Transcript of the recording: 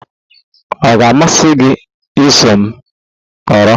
Ọ ga-amasị gị iso m nọrọ?